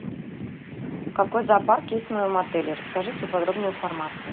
какой зоопарк есть в моем отеле расскажи всю подробную информацию